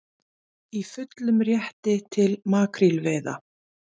Í fullum rétti til makrílveiða